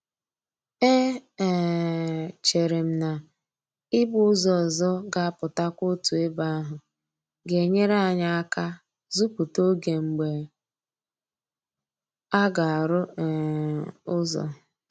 E um chere m na ị gba ụzọ ọzọ ga-apụtakwa otu ebe ahụ ga-enyere anyị aka zuputa oge mgbe aga-arụ um ụzọ